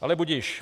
Ale budiž.